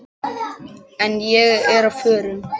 En ég er á förum.